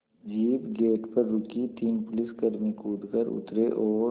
jeep gate पर रुकी तीन पुलिसकर्मी कूद कर उतरे और